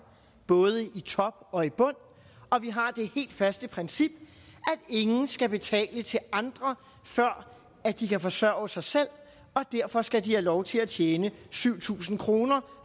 både i top og i bund og vi har det helt faste princip at ingen skal betale til andre før de kan forsørge sig selv og derfor skal de have lov til at tjene syv tusind kr